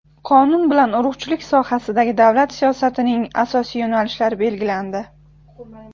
Qonun bilan urug‘chilik sohasidagi davlat siyosatining asosiy yo‘nalishlari belgilandi.